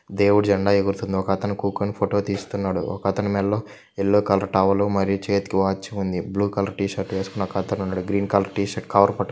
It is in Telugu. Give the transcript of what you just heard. దేవుడి జెండా ఎగురుతుంది ఒక్కతను కుకొని ఫోటో తీస్తున్నాడు ఒకతని మెళ్ళో ఎల్లో కలర్ టవల్ మరియు చేతికి వాచ్ ఉంది. బ్లూ కలర్ టి షర్టు వేసుకున్న ఒకతను ఉన్నాడు green colour T shirt cover పట్టు.